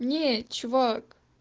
не чувак